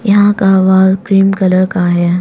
यहां का wall cream colour का है।